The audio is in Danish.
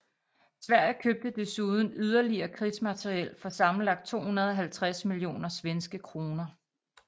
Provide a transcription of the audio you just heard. Sverige købte desuden yderligere krigsmateriel for sammenlagt 250 millioner svenske kroner